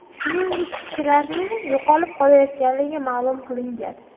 Shuningdek, kishilarning yo‘qolib qolayotganligi ma’lum qilingan.